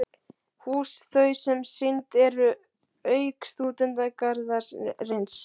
Hús þau, sem sýnd eru- auk Stúdentagarðsins